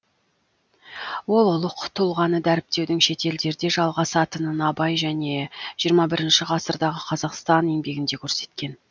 ол ұлық тұлғаны дәріптеудің шетелдерде жалғасатынын абай және жиырма бірінші ғасырдағы қазақстан еңбегінде көрсеткен